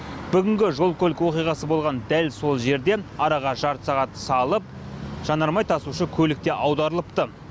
бүгінгі жол көлік оқиғасы болған дәл сол жерден араға жарты сағат салып жанармай тасушы көлік те аударылыпты